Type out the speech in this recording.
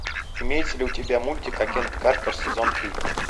имеется ли у тебя мультик агент картер сезон три